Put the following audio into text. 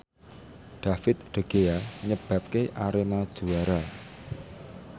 David De Gea nyebabke Arema juara